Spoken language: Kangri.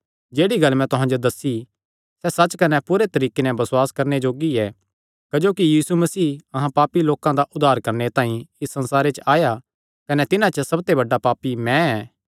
जेह्ड़ी गल्ल मैं तुहां जो दस्सी सैह़ सच्च कने पूरे तरीके नैं बसुआस करणे जोग्गी ऐ क्जोकि यीशु मसीह अहां पापी लोकां दा उद्धार करणे तांई इस संसारे च आया कने तिन्हां च सबते बड्डा पापी मैं ऐ